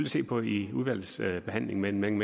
se på i udvalgsbehandlingen men man